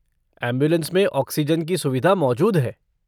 Ambulance में oxygen की सुविधा मौजूद है।